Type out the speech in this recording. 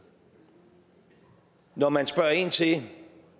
når man spørger ind til